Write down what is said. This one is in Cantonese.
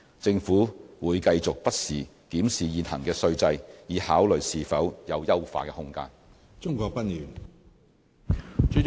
政府會繼續不時檢視現行的稅制，以考慮是否有優化的空間。